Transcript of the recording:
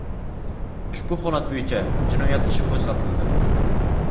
Ushbu holat bo‘yicha jinoyat ishi qo‘zg‘atildi.